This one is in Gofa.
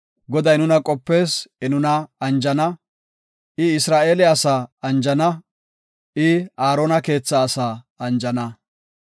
Goday nuna qopees; I nuna anjana; I Isra7eele asaa anjana; I Aarona keetha asaa anjana.